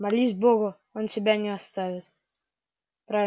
молись богу он тебя не оставит